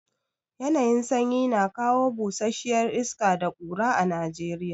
Yanayin sanyi na kawo busasshiya iska da ƙura a Najeriya.